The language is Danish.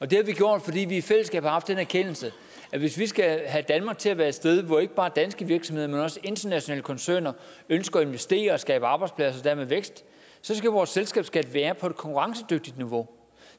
det har vi gjort fordi vi i fællesskab har haft den erkendelse at hvis vi skal have danmark til at være et sted hvor ikke bare danske virksomheder men også internationale koncerner ønsker at investere og skabe arbejdspladser og dermed vækst så skal vores selskabsskat være på et konkurrencedygtigt niveau